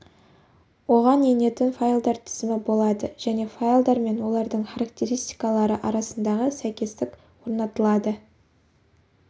оған енетін файлдар тізімі болады және файлдар мен олардың характеристикалары арасындағы сәйкестік орнатылады